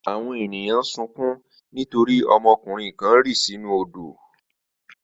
Àwọn ènìyàn sunkún nítorí ọmọkùnrin kan rì sínú odò.